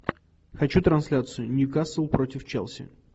хочу трансляцию ньюкасл против челси